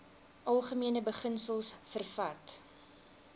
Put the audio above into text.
algemene beginsels vervat